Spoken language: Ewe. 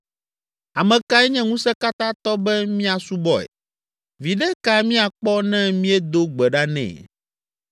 Ame kae nye Ŋusẽkatãtɔ be míasubɔe? Viɖe ka míakpɔ ne míedo gbe ɖa nɛ?’